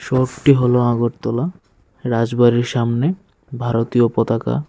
রোডটি হল আগরতলা রাজবাড়ির সামনে ভারতীয় পতাকা।